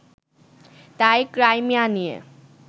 তাই, ক্রাইমিয়া নিয়ে